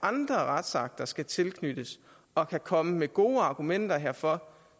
andre retssager skal tilknyttes og kan komme med gode argumenter herfor